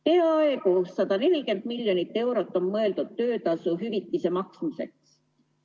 Peaaegu 140 miljonit eurot on mõeldud töötasuhüvitise maksmiseks.